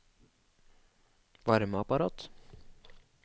varmeapparat